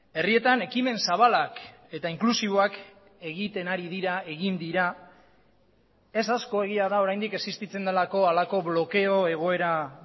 herrietan ekimen zabalak eta inklusiboak egiten ari dira egin dira ez asko egia da oraindik existitzen delako halako blokeo egoera